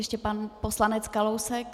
Ještě pan poslanec Kalousek.